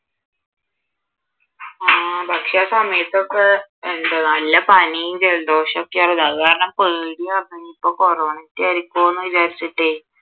ആഹ് പക്ഷെ ആ സമയത്ത് ഒക്കെ എന്താ നല്ല പനീം, ജലദോഷം ഒക്കെയായിരുന്നു അതുകാരണം പേടിയാരുന്നു ഇനിയിപ്പം കൊറോണ ഒക്കെ ആരിക്കുവോ എന്ന് വിചാരിച്ചിട്ടേ